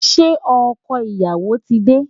Ṣé ọkọ ìyàwó ti dé?